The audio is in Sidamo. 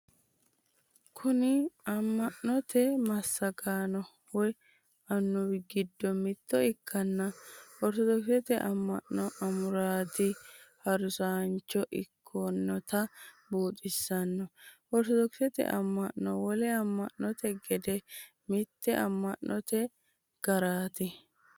Kuni amma'note massagaano woy annuwi giddo mitto ikkanna ortodoksete amma'no amuraati harunsaancho ikkinota buuxisanno. Ortodoksete amma'no wole amma'note gede mitte amma'note gareeti.